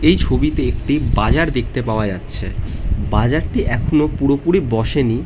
এই ছবিতে একটি বাজার দেখতে পাওয়া যাচ্ছে। বাজারটি এখনো পুরোপুরি বসেনি।